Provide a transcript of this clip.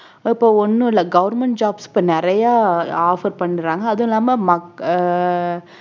இப்ப ஒண்ணும் இல்ல government jobs இப்ப நிறைய offer பண்றாங்க அதுவும் இல்லாம மக்~ அஹ்